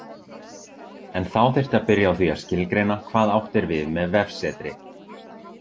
En þá þyrfti að byrja á því að skilgreina hvað átt er við með vefsetri.